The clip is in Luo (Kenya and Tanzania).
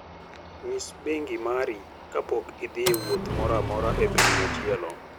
Nyis bengi mari kapok idhi e wuoth moro amora e piny machielo.